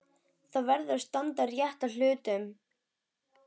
Það verður að standa rétt að hlutunum.